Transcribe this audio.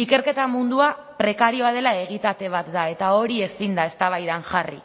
ikerketa mundua prekarioa dela egitate bat da eta hori ezin da eztabaidan jarri